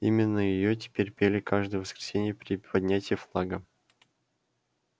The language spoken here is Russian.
именно её теперь пели каждое воскресенье при поднятии флага